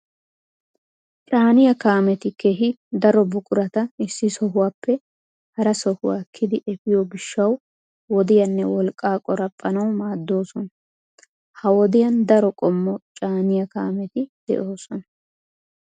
Caaniya kaameti keehi daro buqurata issi sohuwaappe hara sohuwaa ekkidi efiyo gishshawu wodiyaanne wolqqaa qoraphphanawu maaddoosona. Ha wodiyan daro qommo caaniya kaameti de"oosona.